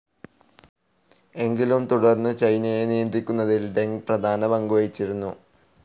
എങ്കിലും തുടർന്നും ചൈനയെ നിയന്ത്രിക്കുന്നതിൽ ഡെങ് പ്രധാന പങ്കുവഹിച്ചിരുന്നു.